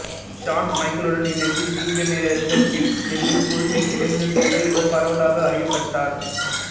Shawn மைக்கேலுடன் இணைந்து Degeneration X எனும் குழுவில் இணைந்த பிறகு இவர் பரவலாக அறியப்பட்டார்